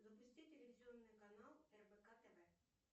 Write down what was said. запусти телевизионный канал рбк тв